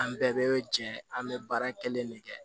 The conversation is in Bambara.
An bɛɛ bɛ jɛ an bɛ baara kelen de kɛ